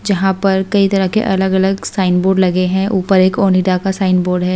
जहां पर कई तरह के अलग-अलग साइन बोर्ड लगे हैं ऊपर एक ओनिडा का साइन बोर्ड है।